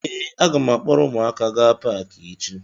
Ee, a ga m akpọrọ ụmụaka gaa Paakị echi